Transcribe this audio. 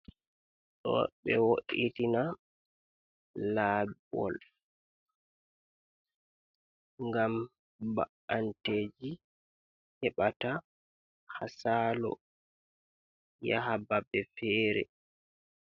Ɗo ɓe wo’itina laawol, gam ba'anteeɗi heɓata ha saalo yaha babe feere.